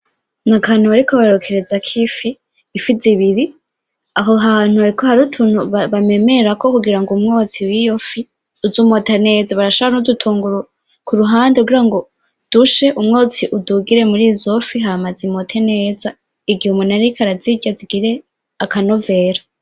Ni akantu bariko bokerezako ifi zibiri aho hantu hariho utuntu bamemerako kugira ngo umwotsi wiyo fi uze umota neza barashirako n'udutunguru ku ruhande kugirango umwotsi udugire murizo fi hama zimote neza igihe umuntu ariko arazirya zigire akanovera .